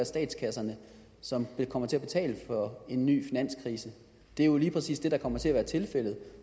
statskasserne som kommer til at betale for en ny finanskrise det er jo lige præcis det der kommer til at være tilfældet